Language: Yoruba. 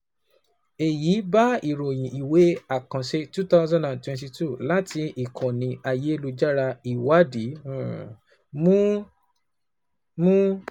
Èyí bá ìròyìn ìwé àkànṣe two thousand and twenty twoo láti ìkànnì ayélujára ìwádìí mu. mu.